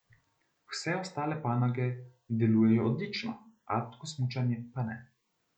Vse ostale panoge delujejo odlično, alpsko smučanje pa ne.